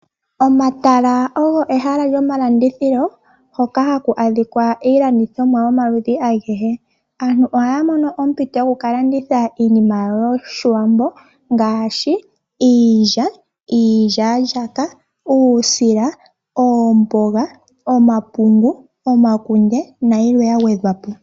Omatala ogo ehala lyomalandithilo hoka haku adhika iilandithonwa yomaludhi agehe. Aantu ohaya mono ompito yoku ka landitha iinima yawo yoshiwambo. Ngaashi Iilya, iilyaalyaaka, uusila, oomboga, omapungu, omakunde nayilwe ya gwedhwa po.